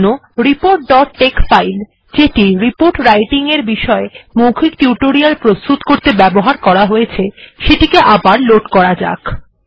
এরজন্য report dot tex file যেটি report writing এর বিষয় মৌখিক টিউটোরিয়াল প্রস্তুত করতে ব্যবহার করা হয়েছে সেটিকে আবার লোড করা যাক